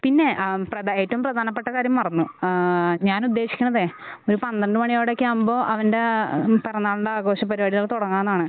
പിന്നെ ആം പ്രധാ ഏറ്റവും പ്രധാനപ്പെട്ട കാര്യം മറന്നു ഏഹ് ഞാൻ ഉദ്ദേശിക്കണതെ ഒരു പന്ത്രണ്ട് മണിയോടയൊക്കെ ആകുമ്പോ അവൻ്റെ പിറന്നാളിൻ്റെ ആഘോഷപരിപാടികൾ തുടങ്ങാനാണ്